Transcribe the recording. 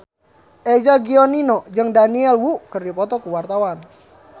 Eza Gionino jeung Daniel Wu keur dipoto ku wartawan